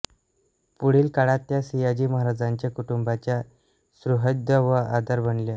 पुढील काळात त्या सियाजी महाराजांच्या कुटुंबाच्या सुहृद व आधार बनल्या